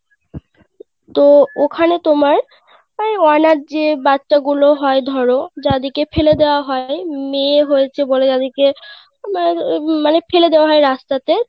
তো ওখানে তোমার ওই অনাথ যে বাচ্চা গুলো হয় ধরো যাদের কে ফেলে দেওয়া হয় মেয়ে হয়েছে বলে উম মানে ফেলে দেওয়া হয় রাস্তাতে